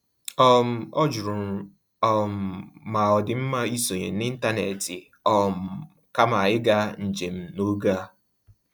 um Ọ jụrụ um ma ọ dị mma isonye n’ịntanetị um kama ịga njem n'oge a.